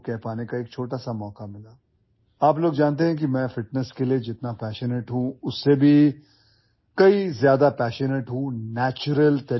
You guys know that much as I am passionate about fitness, I am even more passionate about staying fit in a natural way